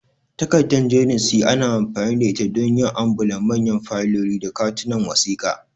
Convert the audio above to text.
Takarda jerin C ana amfani da ita don yin ambulaf, manyan fayiloli, da katunan wasiƙa.